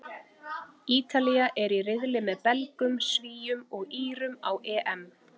Ítalía er í riðli með Belgum, Svíum og Írum á EM.